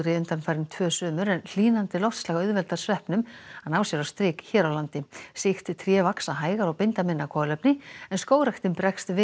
undanfarin tvö sumur en hlýnandi loftslag auðveldar sveppnum að ná sér á strik hér á landi sýkt tré vaxa hægar og binda minna kolefni en skógræktin bregst við